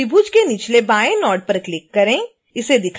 अब त्रिभुज के निचले बाएँ नोड पर क्लिक करें